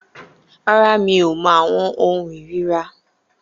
Rárá, mi ò mọ àwọn ohun ìríra